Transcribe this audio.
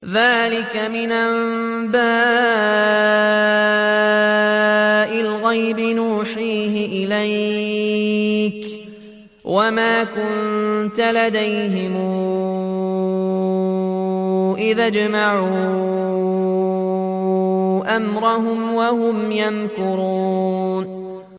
ذَٰلِكَ مِنْ أَنبَاءِ الْغَيْبِ نُوحِيهِ إِلَيْكَ ۖ وَمَا كُنتَ لَدَيْهِمْ إِذْ أَجْمَعُوا أَمْرَهُمْ وَهُمْ يَمْكُرُونَ